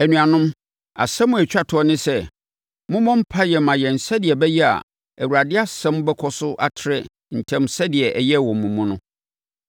Anuanom, asɛm a ɛtwa toɔ ne sɛ, mommɔ mpaeɛ mma yɛn sɛdeɛ ɛbɛyɛ a Awurade asɛm bɛkɔ so atrɛ ntɛm sɛdeɛ ɛyɛɛ wɔ mo mu no.